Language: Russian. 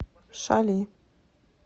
шали